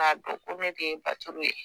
K'a dɔn ko ne de ye baturu ye